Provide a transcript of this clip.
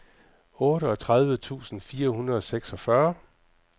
otteogtredive tusind fire hundrede og seksogfyrre